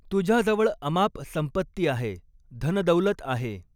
तुझ्याजवळ अमाप संपत्ती आहे, धनदौलत आहे.